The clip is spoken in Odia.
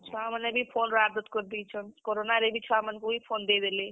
ଛୁଆ ମାନେ ବି phone ର ଆଦତ୍ କରି ଦେଇଛନ୍, corona ରେ ବି ଛୁଆ ମାନ୍ କୁ ଇ phone ଦେଇ ଦେଲେ।